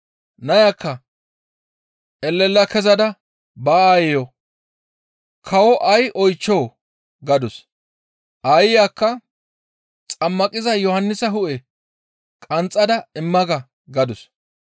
Naya elela kezada ba aayeyo, «Kawoza ay oychchoo?» gadus. Aayiyakka, «Xammaqiza Yohannisa hu7e qanxxada imma ga» gadus.